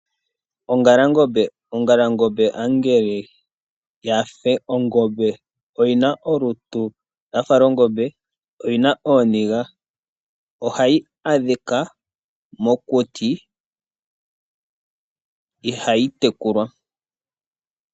Ongalangombe, ongalangombe ombala yife ongombe, oyina olutu lwafa longombe, oyina ooniga. Ohayi adhika mokuti, ihayi tekulwa.